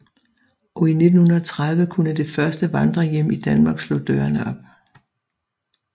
Og i 1930 kunne det første vandrerhjem i Danmark slå dørene op